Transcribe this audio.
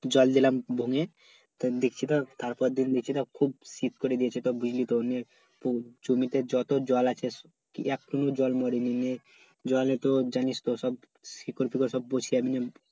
জল দিলাম ভোমে দেখচ্ছি তো তার পর দিন দিচ্ছি খুব শীত করে দিয়েছে জমিতে যত জল আছে একটুকু জল মরে নি জলে তো জানিস তো শিকর ফিকর পরিস্কার